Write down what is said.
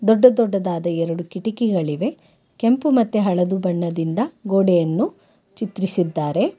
ದೊಡ್ಡ ದೊಡ್ಡದಾದ ಎರಡು ಕಿಟಿಕಿಗಳಿವೆ ಕೆಂಪು ಮತ್ತೆ ಹಳದಿ ಬಣ್ಣದಿಂದ ಗೋಡೆಯನ್ನು ಚಿತ್ರೀಸಿದ್ದಾರೆ.